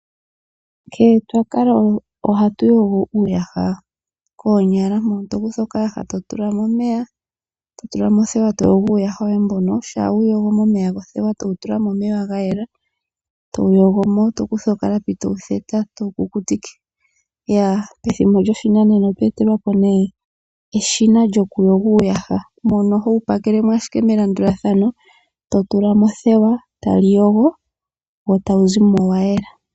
Nkene twa kala ohatu yogo uuyaha koonyala mono to kutha okayaha eto tula mo omeya nothewa etowu yogo momeya gothewa, na ngoka ga yela etowu theta nokalapi. Methimbo lyoshinanena otwe etelwa po eshina lyo kuyoga uuyaha mono ho tula mo ashike uuyaha melandulathano tali yogo etawu zimo wa yela.